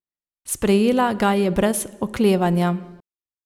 Sprejela ga je brez oklevanja.